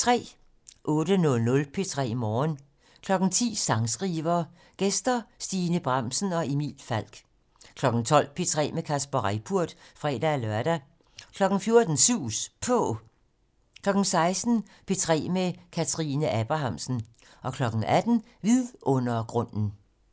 08:00: P3 Morgen 10:00: Sangskriver: Gæster Stine Bramsen og Emil Falk 12:00: P3 med Kasper Reippurt (fre-lør) 14:00: Sus På 16:00: P3 med Kathrine Abrahamsen 18:00: Vidundergrunden